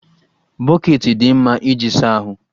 Bọkeeti dị mma iji asa ahụ